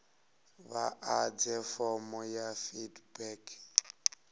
vha ḓadze fomo ya feedback